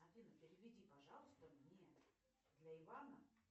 афина переведи пожалуйста мне для ивана